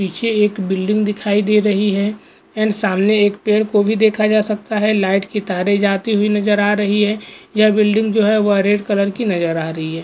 पीछे एक बिल्डिंग दिखाई दे रही है एन्ड सामने एक पेड़ को भी देखा जा सकता है लाइट की तारे जाति हुई नजर आ रही है यह बिल्डिंग जो है वह रेड कलर की नजर आ रही है।